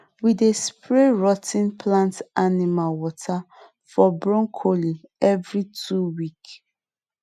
we dey spray rot ten plant animal water for broccoli every two week